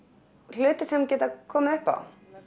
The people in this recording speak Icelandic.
hluti sem geta komið upp á